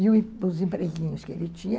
E os empreguinhos que ele tinha.